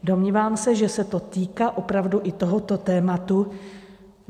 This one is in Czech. Domnívám se, že se to týká opravdu i tohoto tématu.